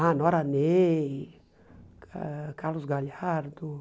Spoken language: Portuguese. Ah, Nora Ney, ãh Carlos Galhardo.